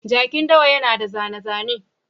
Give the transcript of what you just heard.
Jakin dawa yana da zane-zane.